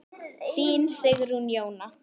Þín Sigrún Jóna.